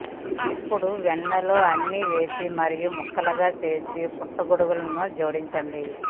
ఇప్పుడు వెన్నలో అన్ని వేసి మరియు ముక్కలుగా చేసి పుట్టగొడుగులను జోడించండి